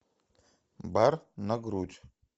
бар на грудь